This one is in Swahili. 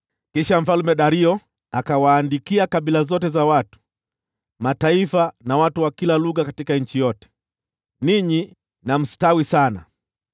Kisha Mfalme Dario akawaandikia kabila zote za watu, mataifa, na watu wa kila lugha katika nchi yote: “Ninyi na mstawi sana!